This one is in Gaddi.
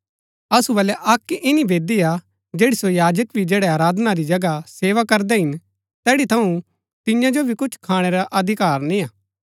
असु बलै अक्क इन्‍नी वेदी हा जैड़ी सो याजक भी जैड़ै आराधना री जगह सेवा करदै हिन तैड़ी थऊँ तिन्या जो भी कुछ खाणै रा अधिकार निय्आ